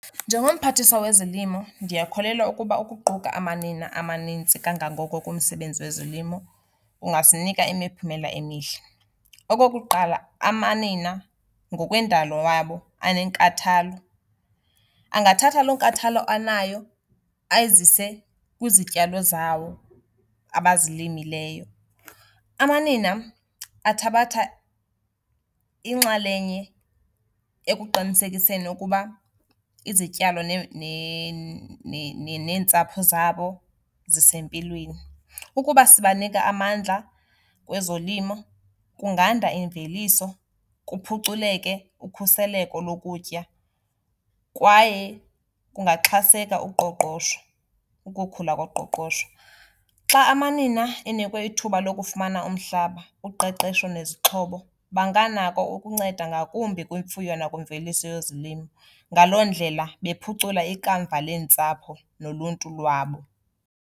Njengomphathiswa wezolimo ndiyakholelwa ukuba ukuquka amanina amanintsi kangangoko kumsebenzi wezolimo kungasinika imiphumela emihle. Okokuqala amanina ngokwendalo wabo anenkathalo. Angathatha loo nkathalo anayo ayizise kwizityalo zawo abazilimileyo. Amanina athabatha inxalenye ekuqinisekiseni ukuba izityalo neentsapho zabo zisempilweni. Ukuba sibanika amandla kwezolimo kunganda imveliso, kuphuculeke ukhuseleko lokutya kwaye kungaxhaseka uqoqosho, ukukhula koqoqosho. Xa amanina enikwe ithuba lokufumana umhlaba, uqeqesho nezixhobo, banganako ukunceda ngakumbi kwimfuyo nakwimveliso yezolimo. Ngaloo ndlela bephucule ikamva leentsapho noluntu lwabo.